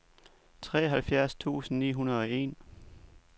treoghalvfjerds tusind ni hundrede og en